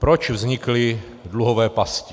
Proč vznikly dluhové pasti?